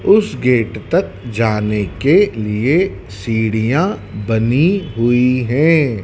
उस गेट तक जाने के लिए सीढ़ियां बनी हुई है।